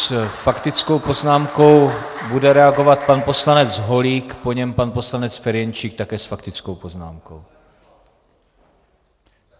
S faktickou poznámkou bude reagovat pan poslanec Holík, po něm pan poslanec Ferjenčík, také s faktickou poznámkou.